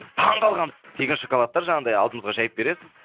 біз таң қалғанбыз тегін шоколадтар жаңағындай алдымызға жайып бересіз